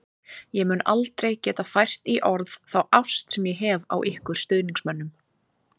Ég mun aldrei geta fært í orð þá ást sem ég hef á ykkur stuðningsmönnum.